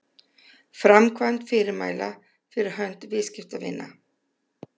framkvæmd fyrirmæla fyrir hönd viðskiptavina